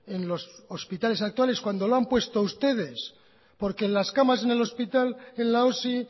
en los hospitales actuales cuando lo han puesto ustedes porque en las camas en el hospital en la osi